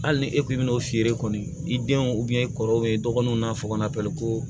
Hali ni e kun bɛna'o feere kɔni i denw i kɔrɔw bɛ dɔgɔninw n'a fɔ kɔnɔ ko